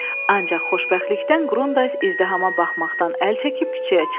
Ancaq xoşbəxtlikdən Qrundays izdihama baxmaqdan əl çəkib küçəyə çıxdı.